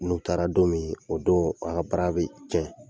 N'u taara don mIin, o don an ka bra be tiɲɛ.